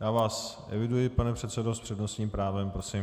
Já vás eviduji, pane předsedo, s přednostním právem, prosím.